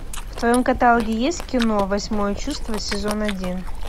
в твоем каталоге есть кино восьмое чувство сезон один